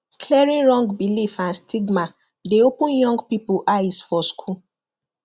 clearing wrong beliefs and stigma dey open young people eyes for school